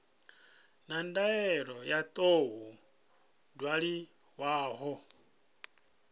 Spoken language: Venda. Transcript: na ndaela yo tou ṅwaliwaho